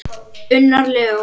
Unnar Leó.